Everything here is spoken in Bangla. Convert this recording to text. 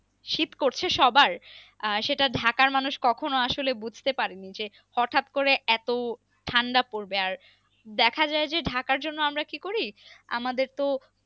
শীত করছে সবার আহ সেটা ঢাকার মানুষ কখনও আসলে বুঝতে পারেনি যে হঠাৎ করে এত ঠান্ডা পরবে আর দেখা যায় যে ঢাকার জন্য আমরা কি করি আমাদের তো